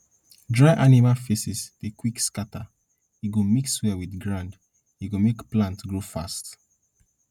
dry animal feces dey quick to scatter e go mix well with ground e go make plant grow fast